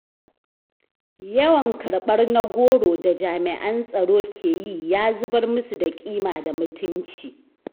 Yawan karɓar na goro da jami'an tsaro ke yi ya zubar musu da ƙima da mutunci.